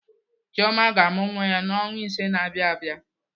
Chioma ga-amụ nwa ya n'ọnwa ise na-abịa abịa.